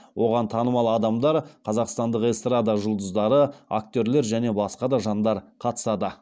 оған танымал адамдар қазақстандық эстрада жұлдыздары актерлер және басқа да жандар қатысады